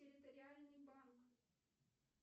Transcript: территориальный банк